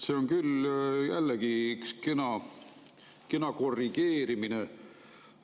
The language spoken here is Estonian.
See on küll jällegi üks kena korrigeerimine.